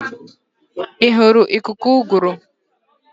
Ị hụrụ ikuku ụgụrụ?